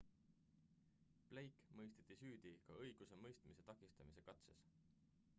blake mõisteti süüdi ka õigusemõistmise takistamise katses